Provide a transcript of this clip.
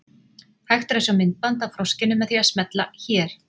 Hægt er að sjá myndband af froskinum með því að smella hér.